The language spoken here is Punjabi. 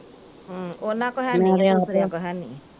ਉਹਨਾਂ ਕੋ ਹੈਨੀ ਤੇ ਇੱਕ ਮੇਕੋ ਹੈਨੀ।